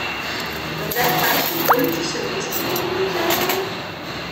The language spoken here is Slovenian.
Morda je v vaši okolici še kdo s podobnimi željami?